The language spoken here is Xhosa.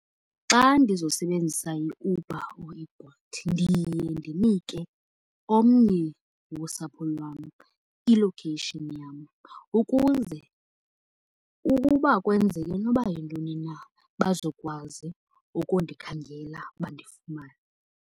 Xa ndizosebenzisa iUber or iBolt ndiye ndinike omnye wosapho lwam i-location yam ukuze ukuba kwenzeke noba yintoni na bazokwazi ukundikhangela bandifumane.